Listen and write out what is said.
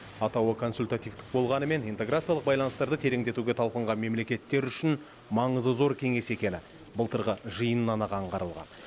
атауы консультативтік болғанымен интеграциялық байланыстарды тереңдетуге талпынған мемлекеттер үшін маңызы зор кеңес екені былтырғы жиыннан ақ аңғарылған